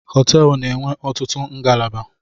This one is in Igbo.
Họteelụ na-enwe ọtụtụ ngalaba